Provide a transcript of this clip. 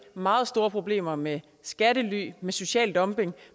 meget store problemer med skattely med social dumping og